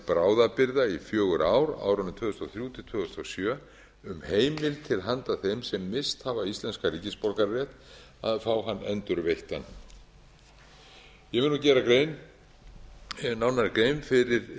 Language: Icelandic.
bráðabirgða í fjögur ár á árunum tvö þúsund og þrjú til tvö þúsund og sjö um heimild til handa þeim sem misst hafa íslenskan ríkisborgararétt að fá hann endurveittan ég vil gera nánari grein fyrir